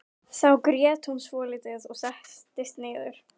Þá grét hún svolítið og settist niður.